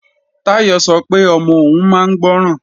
Táyọ̀ sọ pé ọmọ òun máa ń gbọ́ràn